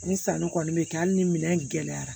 Ni sanu kɔni bɛ kɛ hali ni minɛn in gɛlɛyara